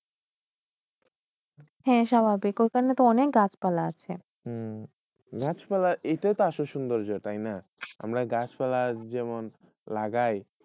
হয়ে স্বাভাবিক য়ইখানে তো কাটপালা আসে গাসপালা এতটাইট সুন্দর আমরা গাসপালা যেমন লাগায়